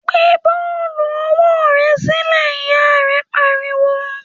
‘Gbé bó̩ò̩lù o̩wó̩ re̩ sílè̩!’, ìyá rè̩ pariwo